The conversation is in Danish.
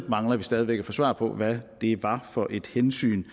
mangler stadig væk at få svar på hvad det var for et hensyn